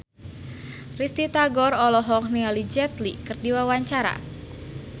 Risty Tagor olohok ningali Jet Li keur diwawancara